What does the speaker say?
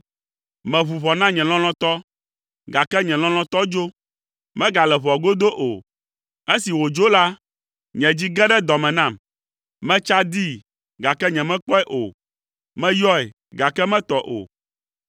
Meʋu ʋɔ na nye lɔlɔ̃tɔ, gake nye lɔlɔ̃tɔ dzo; megale ʋɔa godo o. Esi wòdzo la, nye dzi ge ɖe dɔ me nam. Metsa dii, gake nyemekpɔe o. Meyɔe, gake metɔ o.